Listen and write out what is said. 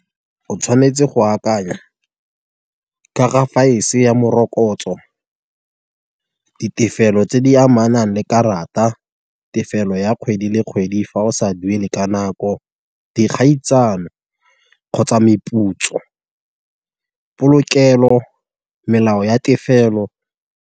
O tshwanetse go akanya ka ga ya morokotso, di tefelo tse di amanang le karata, tefelo ya kgwedi le kgwedi fa o sa duele ka nako, kgotsa meputso, polokelo, melao ya tefelo.